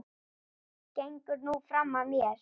Gengur nú fram af mér!